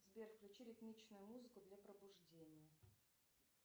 сбер включи ритмичную музыку для пробуждения